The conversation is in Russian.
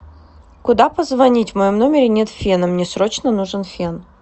куда позвонить в моем номере нет фена мне срочно нужен фен